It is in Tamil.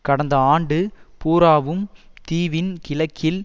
கடந்த ஆண்டு பூராவும் தீவின் கிழக்கில்